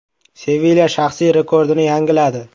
“Sevilya” shaxsiy rekordini yangiladi.